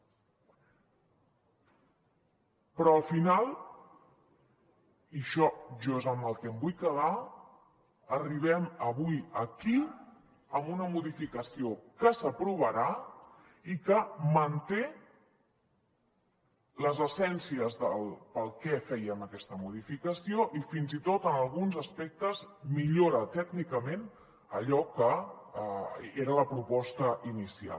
però al final i això jo és amb el que em vull quedar arribem avui aquí amb una modificació que s’aprovarà i que manté les essències de per què fèiem aquesta modificació i fins i tot en alguns aspectes millora tècnicament allò que era la proposta inicial